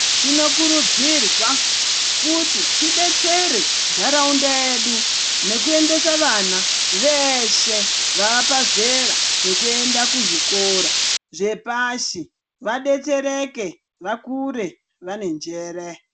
Tinokurudzirwa kuti tidetsereke nharaunda yedu ngekuendesa vana veshe vaa pazera rekuenda kuzvikora zvepashi vadetsereke vakure vane njere.